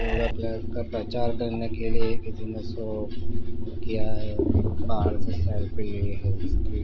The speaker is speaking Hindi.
योगा क्लास का प्रचार करने के लिए किसीने इसको किया है बाहरसे सेल्फी ली है इसकी।